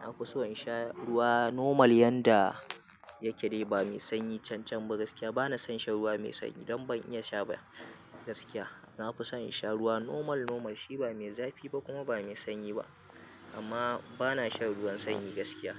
Na fi so in sha ruwa normal yanda yake dai ba mai sanyi can can ba. Gaskiya bana san shan ruwa mai sanyi don ban iya sha ba gaskiya. Na fi son in sha ruwa normal, normal shi ba mai zafi ba kuma ba mai sanyi ba amma bana shan ruwan sanyi gaskiya.